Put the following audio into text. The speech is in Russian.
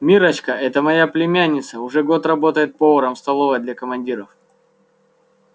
миррочка это моя племянница уже год работает поваром в столовой для командиров